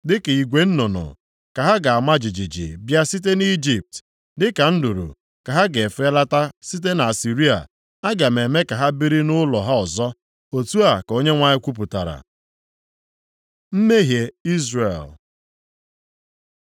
Dịka igwe nnụnụ ka ha ga-ama jijiji bịa site nʼIjipt, dịka nduru ka ha ga-efelata site nʼAsịrịa. Aga m eme ka ha biri nʼụlọ ha ọzọ,” otu a ka Onyenwe anyị kwupụtara. Mmehie Izrel